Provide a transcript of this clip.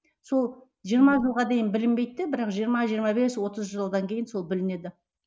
сол жиырма жылға дейін білінбейді де бірақ жиырма жиырма бес отыз жылдан кейін сол білінеді